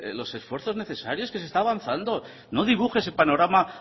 los esfuerzos necesarios que se está avanzado no dibuje ese panorama